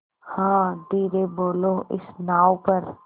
हाँ धीरे बोलो इस नाव पर